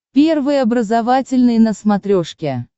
первый образовательный на смотрешке